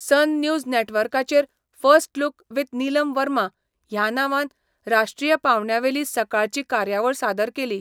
सन News नॅटवर्काचेर first look with Neelam Verma ह्या नांवान राष्ट्रीय पावंड्यावेली सकाळची कार्यावळ सादर केली.